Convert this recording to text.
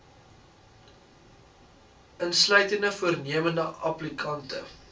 insluitende voornemende applikante